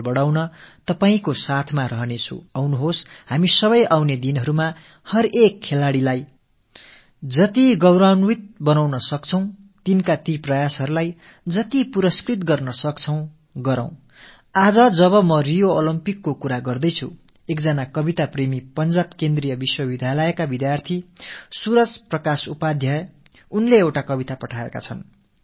வாருங்கள் நாம் அனைவரும் இனிவரும் நாட்களில் ஒவ்வொரு விளையாட்டு வீரரையும் எந்த அளவுக்கு கவுரவப்படுத்த முடியுமோ அவர்களின் முயற்சிகளுக்கு ஊக்கம் அளிக்க முடியுமோ அவற்றையெல்லாம் செய்வோம் இன்று நான் ரியோ ஒலிம்பிக் பற்றிப் பேசிக் கொண்டிருக்கையில் பஞ்சாப் மத்திய பல்கலைக்கழகத்த்தைச் சேர்ந்த ஒரு கவிதை விரும்பும் மாணவர் சூரஜ் பிரகாஷ் உபாத்யாய் எழுதி அனுப்பியிருக்கும் ஒரு கவிதையைப் படிக்கிறேன்